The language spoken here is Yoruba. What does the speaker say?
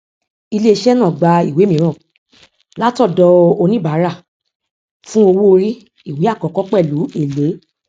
iléiṣẹ náà gba ìwé mìíràn látọdọ oníbàárà fún owó orí ìwé àkọkọ pẹlú èlé